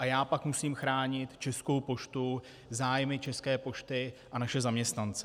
A já pak musím chránit Českou poštu, zájmy České pošty a naše zaměstnance.